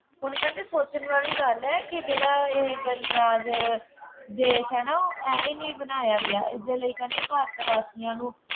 ਹੁਣ ਕਹਿੰਦੇ ਸੋਚਣ ਵਾਲੀ ਗੱਲ ਹੈ ਕਿ ਜਿਹੜਾ ਇਹ ਗਣਰਾਜ ਦੇਸ਼ ਹੈ ਨਾ, ਐਵੇਂ ਨਹੀਂ ਬਣਾਇਆ ਗਿਆ, ਇਸਦੇ ਲਈ ਕਹਿੰਦੇ ਭਾਰਤ ਵਾਸੀਆਂ ਨੂੰ